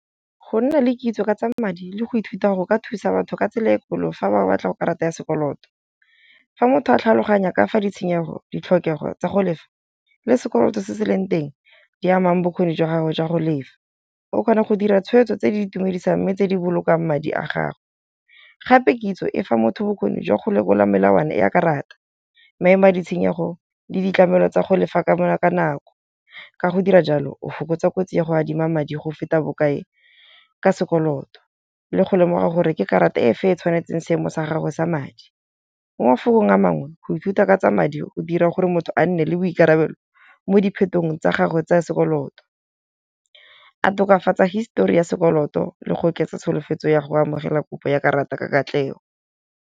Go nna le kitso ka tsa madi le go ithuta go ka thusa batho ka tsela e kgolo fa ba batla go karata ya sekoloto. Fa motho a tlhaloganya kafa ditshenyego ditlhokego tsa go lefa le sekoloto se se leng teng di amang bokgoni jwa gago jwa go lefa. O kgona go dira tshweetso tse di itumedisang. Mme tse di bolokang madi a gagwe. Gape kitso e fa motho bokgoni jwa go lekola melawana ya karata, maemo a ditshenyetso le ditlamelo tsa go lefa ka bona ka ka nako. Ka go dira jalo o fokotsa kotsi ya go adima madi go feta bokae ka sekoloto le go lemoga gore ke karata e fe e tshwanetseng seemo sa gagwe sa madi. Mo mafelong a mangwe go ithuta ka tsa madi go dira gore motho a nne le boikarabelo mo diphetong tsa gagwe tsa sekoloto, a tokafatsa histori ya sekoloto le go oketsa tsholofetso ya go amogela kopo ya karata ka katlego.